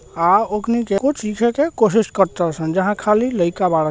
आ ओकनी के कुछ लिखे के कोशिश करतारसन जहां खाली लइका बाड़े --